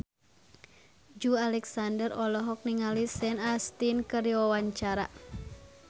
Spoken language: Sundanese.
Joey Alexander olohok ningali Sean Astin keur diwawancara